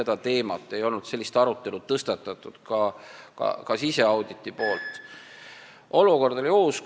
Ka siseaudit ei ole sellist arutelu tõstatanud, olukord on uus.